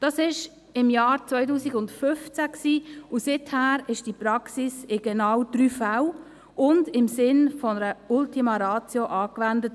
Das war im Jahr 2015, und seither wurde diese Praxis in genau drei Fällen und im Sinne einer Ultima Ratio angewendet.